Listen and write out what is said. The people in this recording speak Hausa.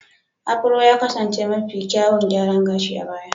Afuro ya kasance mafi kyawun gyaran gashi a baya.